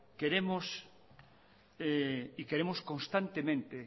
queremos y queremos constantemente